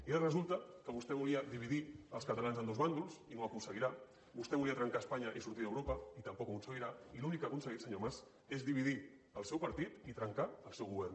i ara resulta que vostè volia dividir els catalans en dos bàndols i no ho aconseguirà vostè volia trencar espanya i sortir d’europa i tampoc ho aconseguirà i l’únic que ha aconseguit senyor mas és dividir el seu partit i trencar el seu govern